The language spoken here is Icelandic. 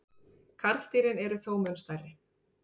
karldýrin eru þó mun stærri